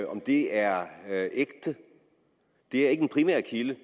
om det er er ægte det er ikke en primærkilde